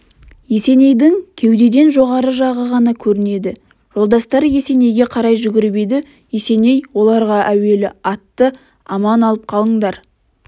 есенейдің кеудеден жоғары жағы ғана көрінеді жолдастары есенейге қарай жүгіріп еді есеней оларғаәуелі атты аман алып қалыңдар